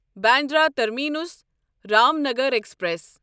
بنبینٛدرا درا terminus Ramnagar express